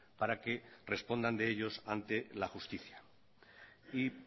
para que respondan de ellos ante la justicia y